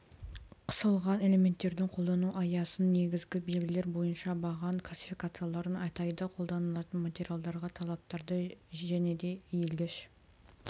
қысылған элементтердің қолдану аясын негізгі белгілері бойынша баған классификацияларын атайды қолданылатын материалдарға талаптарды және де иілгіш